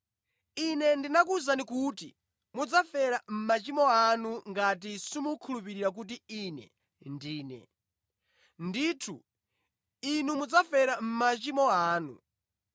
Ine ndinakuwuzani kuti mudzafera mʼmachimo anu ngati simukhulupirira kuti Ine Ndine. Ndithu inu mudzafera mʼmachimo anu.”